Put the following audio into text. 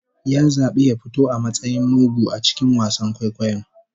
Ya zabi ya fito a matsayin mugu a cikin wasan kwaikwayon